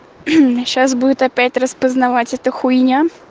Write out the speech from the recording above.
сейчас будет опять распознавать это хуйня